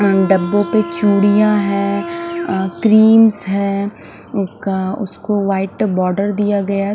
डब्बो पे चूडिया है अ क्रीमस है ऊ का उसको वाइट बोडर दिया गया--